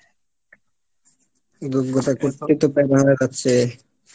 যোগ্যতা করতেই তো বেড়াচ্ছে